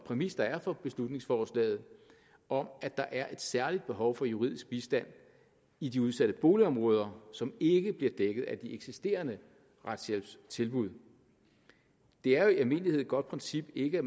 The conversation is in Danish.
præmis der er for beslutningsforslaget om at der er et særligt behov for juridisk bistand i de udsatte boligområder som ikke bliver dækket af de eksisterende retshjælpstilbud det er jo i almindelighed et godt princip ikke at